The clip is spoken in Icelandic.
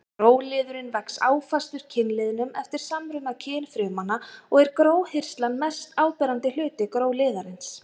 Gróliðurinn vex áfastur kynliðnum eftir samruna kynfrumanna og er gróhirslan mest áberandi hluti gróliðarins.